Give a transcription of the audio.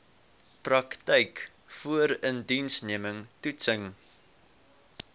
praktyk voorindiensneming toetsing